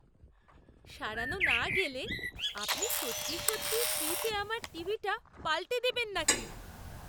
সারানো না গেলে আপনি সত্যি সত্যিই ফ্রিতে আমার টিভিটা পাল্টে দেবেন নাকি?